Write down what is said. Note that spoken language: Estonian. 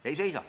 Ei seisa!